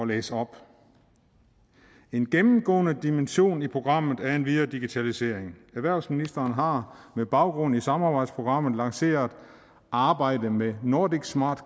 læse op en gennemgående dimension i programmet er endvidere digitalisering erhvervsministrene har med baggrund i samarbejdsprogrammet lanceret arbejdet med nordic smart